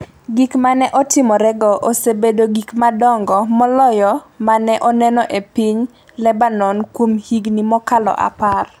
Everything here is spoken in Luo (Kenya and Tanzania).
Gik ma ne otimorego osebedo gik madongo moloyo ma ne oneno e piny Lebanon kuom higni mokalo apar.